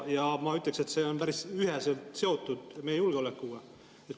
Ja ma ütleksin, et see on päris üheselt seotud meie julgeolekuga.